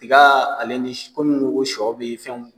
Tiga ale ni komi i ko ko shɔ bɛ ye fɛnw